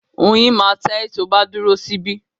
Oyin máa ta ẹ́ tí o bá dúró sí bí